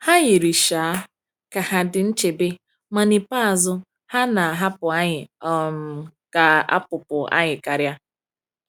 Ha yiri um ka ha dị nchebe, ma n’ikpeazụ, ha na-ahapụ anyị um ka a kpụpụ anyị karịa.